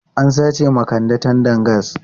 An sace wa Kande tandan gas.